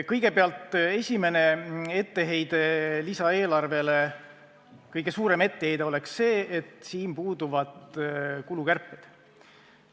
Kõigepealt: esimene, kõige suurem etteheide lisaeelarvele on see, et selles puuduvad kulukärped.